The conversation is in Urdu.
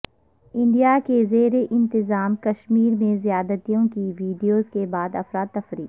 انڈیا کے زیرانتظام کشمیر میں زیادتیوں کی ویڈیوز کے بعد افراتفری